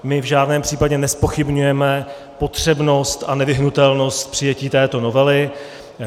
My v žádném případě nezpochybňujeme potřebnost a nevyhnutelnost přijetí této novely.